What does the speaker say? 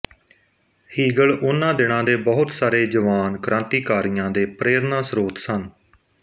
Hegel ਉਹਨਾਂ ਦਿਨਾਂ ਦੇ ਬਹੁਤ ਸਾਰੇ ਜਵਾਨ ਕ੍ਰਾਂਤੀਕਾਰੀਆਂ ਦੇ ਪ੍ਰੇਰਨਾ ਸਰੋਤ ਸਨ